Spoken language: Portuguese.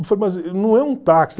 não é um táxi.